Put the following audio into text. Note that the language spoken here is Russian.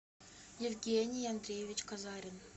евгений андреевич казарин